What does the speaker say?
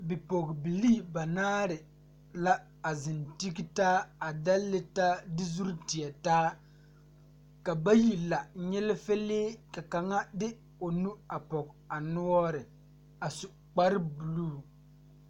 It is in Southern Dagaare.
Bipɔɔbilee banaare la a zeŋ tigetaa a dɛlle taa de zurre tie taa ka bayi la nyilifilee ka kaŋa de o nu a pɔge a noɔre a su kparebluu.